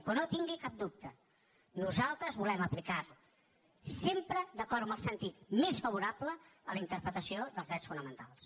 però no en tingui cap dubte nosaltres volem aplicar sempre d’acord amb el sentit més favorable a la interpretació dels drets fonamentals